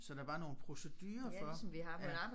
Så der var nogle procedurer for ja